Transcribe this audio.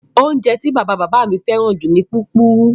Oúnjẹ tí bàbá-bàbá mi fẹ́ràn jù ni púpurú.